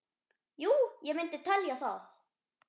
Jú ég myndi telja það.